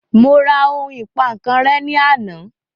Mo ra ohun ìpankan rẹ́ ní àná